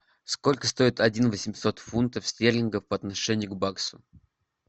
сколько стоит один восемьсот фунтов стерлингов по отношению к баксу